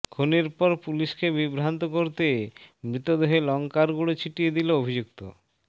খুনের পর পুলিশকে বিভ্রান্ত করতে মৃতদেহে লঙ্কার গুঁড়ো ছিটিয়ে দিল অভিযুক্ত